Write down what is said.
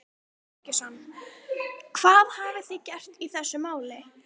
Símon Birgisson: Hvað hafið þið gert í þessum máli?